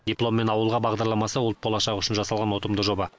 дипломмен ауылға бағдарламасы ұлт болашағы үшін жасалған ұтымды жоба